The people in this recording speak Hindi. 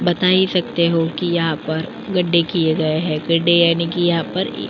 बताई सकते हो की यहाँ पर गड्ढे कीये गए है। गड्ढे यानि की यहाँ पर इ --